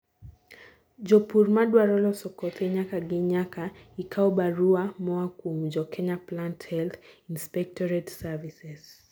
jopur madwaro loso kothe nyaka gii nyaka ikaw barua moa kuom jo Kenya Plant Health Inspectorate Services